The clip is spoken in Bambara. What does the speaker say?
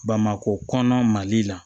Bamakɔ kɔnɔna mali la